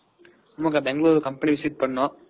ஆமாங்கக்கா company visit